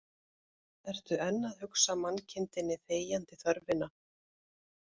Ertu enn að hugsa mannkindinni þegjandi þörfina